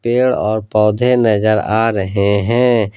पेड़ और पौधे नजर आ रहे हैं।